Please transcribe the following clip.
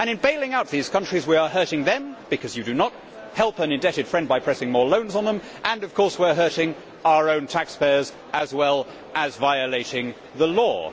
In bailing out these countries, we are hurting them because you do not help an indebted friend by pressing more loans on them and, of course, we are hurting our own taxpayers as well as violating the law.